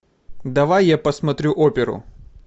давай я посмотрю оперу